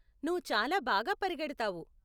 నువ్వు చాలా బాగా పరిగెడతావు .